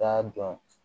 K'a dɔn